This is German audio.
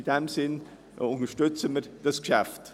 In diesem Sinn unterstützen wir dieses Geschäft.